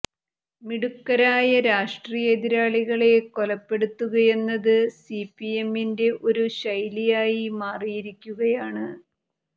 മിടുക്കരായ രാഷ്ട്രീയ എതിരാളികളെ കൊലപ്പെടുത്തുകയെന്നത് സി പി എമ്മിന്റെ ഒരു ശൈലിയായി മാറിയിരിക്കുകയാണ്